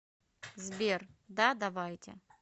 сбер да давайте